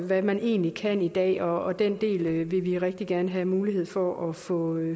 hvad man egentlig kan i dag og den del vil vi rigtig gerne have mulighed for at få